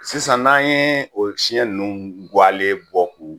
Sisan n'an ye o siɲɛ ninnu kuwalen bɔ k'u